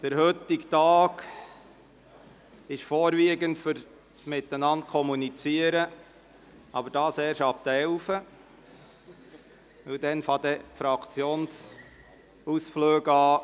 Der heutige Tag dient vorwiegend dazu, miteinander zu kommunizieren, doch dies ist erst ab 11 Uhr der Fall, wenn die Fraktionsausflüge beginnen.